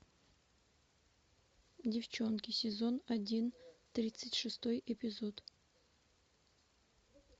девчонки сезон один тридцать шестой эпизод